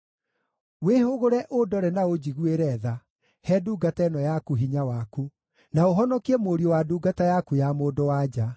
Wĩhũgũre ũndore na ũnjiguĩre tha; he ndungata ĩno yaku hinya waku, na ũhonokie mũriũ wa ndungata yaku ya mũndũ-wa-nja.